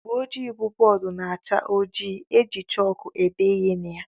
Ụgbọjii bụ bóódú na-acha ojii eji chaalkú ede ihe na ya.